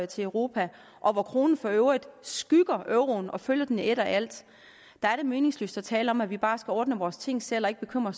til europa og hvor kronen for øvrigt skygger euroen og følger den i et og alt er det meningsløst at tale om at vi bare skal ordne vores ting selv og ikke bekymre